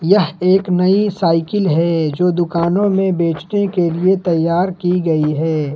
यह एक नई साइकिल है जो दुकानों में बेचने कै लिए तैयार की गई है।